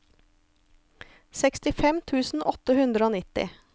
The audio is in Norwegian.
sekstifem tusen åtte hundre og nitti